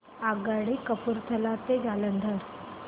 आगगाडी कपूरथला ते जालंधर